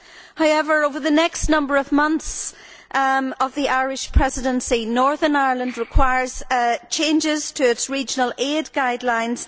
However, over the next number of months of the Irish Presidency, Northern Ireland requires changes to its regional aid guidelines.